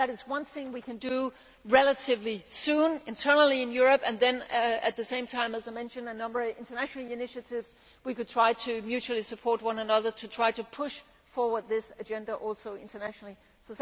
That is one thing we can do relatively soon internally in Europe. At the same time, as I mentioned, there are a number of international initiatives where we could try to mutually support one another and try to push forward this agenda at international level too.